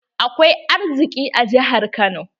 Akwai arziki a jihar Kano